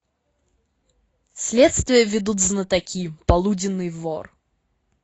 следствие ведут знатоки полуденный вор